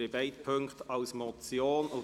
Es werden beide Punkte als Motion behandelt.